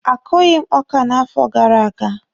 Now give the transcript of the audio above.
A kụghị m ọkà n'afọ gara aga.